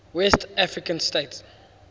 west african states